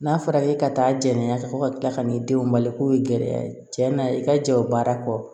N'a fɔra k'e ka taa jɛn ka bɔ ka kila ka n'i denw bali k'o ye gɛlɛya ye cɛ na i ka jɛ o baara kɔ